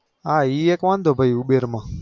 હા એ એક વાંધો ઉબેરમાં